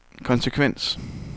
konsekvens